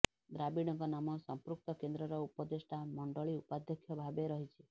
ଦ୍ରାବିଡ଼ଙ୍କ ନାମ ସମ୍ପୃକ୍ତ କେନ୍ଦ୍ରର ଉପଦେଷ୍ଠା ମଣ୍ଡଳି ଉପାଧ୍ୟକ୍ଷ ଭାବେ ରହିଛି